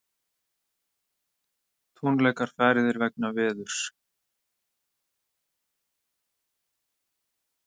Tónleikar færðir vegna veðurs